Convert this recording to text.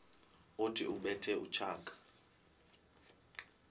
othi ubethe utshaka